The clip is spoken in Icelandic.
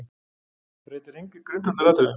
Breytir engu í grundvallaratriðum